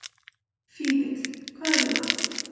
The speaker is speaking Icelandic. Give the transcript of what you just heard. Fífill, hvað er í matinn?